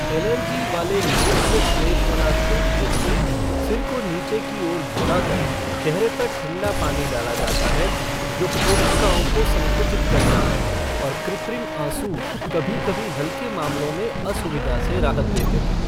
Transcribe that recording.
Allergy वाले नेत्रश्लेष्मलाशोथ के लिए, सिर को नीचे की ओर झुकाकर चेहरे पर ठंडा पानी डाला जाता है, जो कोशिकाओं को संकुचित करता है, और कृत्रिम आँसू कभी कभी हल्के मामलों में असुविधा से राहत देते हैं।